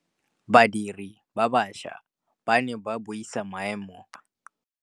Badiri ba baša ba ne ba buisa maêmô a konteraka.